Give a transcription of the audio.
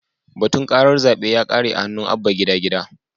Batun karar zabe ya kare a hannun Abba Gida Gida.